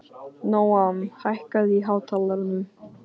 Nóam, hækkaðu í hátalaranum.